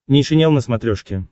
нейшенел на смотрешке